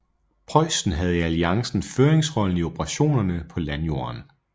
Preussen havde i alliancen føringsrollen i operationerne på landjorden